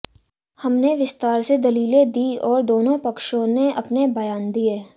हमने विस्तार से दलीलें दी और दोनों पक्षों ने अपने बयान दिए